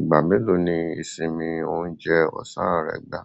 Ìgbà mélòó ni ìsinmi oúnjẹ ọ̀sán rẹ gbà?